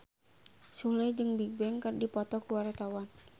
Sule jeung Bigbang keur dipoto ku wartawan